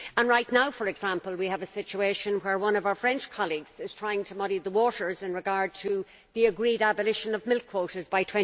Right now, for example, we have a situation where one of our French colleagues is trying to muddy the waters in regard to the agreed abolition of milk quotas by